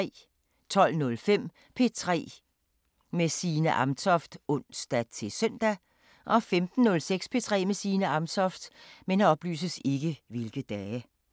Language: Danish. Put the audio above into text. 12:05: P3 med Signe Amtoft (ons-søn) 15:06: P3 med Signe Amtoft